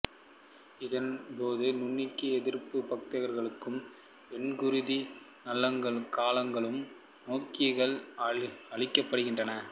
இதன் போது நுண்ணங்கி எதிர்ப்புப் பதார்த்தங்களாலும் வெண்குருதிக் கலங்களாலும் நோயாக்கிகள் அழிக்கப்படுகின்றன